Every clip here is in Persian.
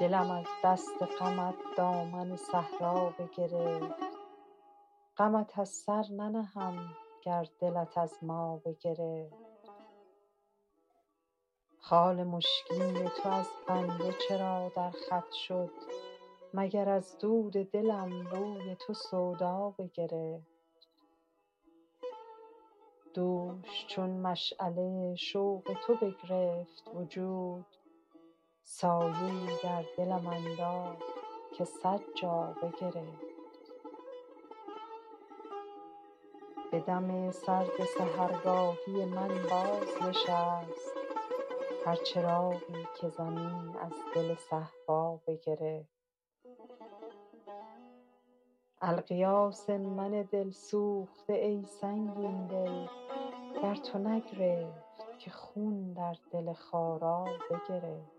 دلم از دست غمت دامن صحرا بگرفت غمت از سر ننهم گر دلت از ما بگرفت خال مشکین تو از بنده چرا در خط شد مگر از دود دلم روی تو سودا بگرفت دوش چون مشعله شوق تو بگرفت وجود سایه ای در دلم انداخت که صد جا بگرفت به دم سرد سحرگاهی من بازنشست هر چراغی که زمین از دل صهبا بگرفت الغیاث از من دل سوخته ای سنگین دل در تو نگرفت که خون در دل خارا بگرفت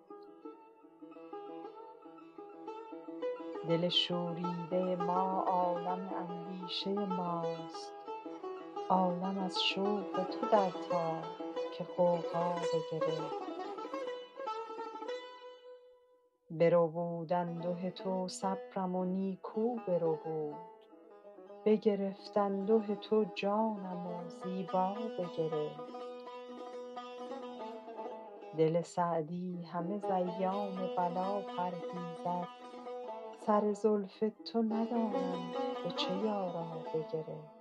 دل شوریده ما عالم اندیشه ماست عالم از شوق تو در تاب که غوغا بگرفت بربود انده تو صبرم و نیکو بربود بگرفت انده تو جانم و زیبا بگرفت دل سعدی همه ز ایام بلا پرهیزد سر زلف تو ندانم به چه یارا بگرفت